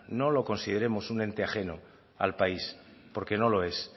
no lo consideremos un ente ajeno al país porque no lo es